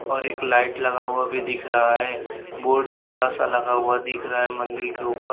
और एक लाइट लगा हुआ भी दिख रहा है बोर्ड बड़ा सा लगा हुआ दिख रहा है मंदिल के ऊपर।